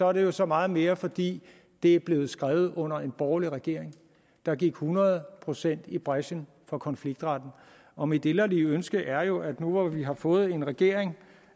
er det jo så meget mere fordi det er blevet skrevet under en borgerlig regering der gik hundrede procent i brechen for konfliktretten og mit inderlige ønske er jo at nu hvor vi har fået en regering